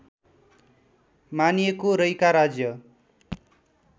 मानिएको रैका राज्य